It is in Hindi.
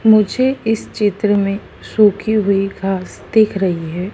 मुझे इस चित्र में सूखी हुई घास दिख रही है।